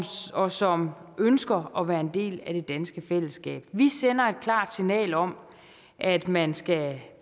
og som ønsker at være en del af det danske fællesskab vi sender et klart signal om at man skal